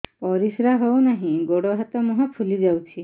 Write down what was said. ପରିସ୍ରା ହଉ ନାହିଁ ଗୋଡ଼ ହାତ ମୁହଁ ଫୁଲି ଯାଉଛି